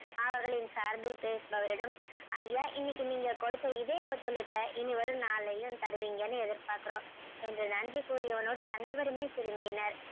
அவர்களின் சார்பில் பேசுபவரிடம் ஐயா இன்னைக்கு நீங்க கொடுத்த இதே ஒத்துழைப்பை இனி வரும் நாளிலயும் தருவீங்கன்னு எதிர்பார்க்குறோம் என்று நன்றி கூறி அவனுடன் அனைவருமே திரும்பினர்.